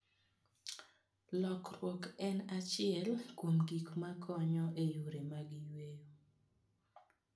Lokroni , en achiel kuom gik ma konyo e yore mag yweyo.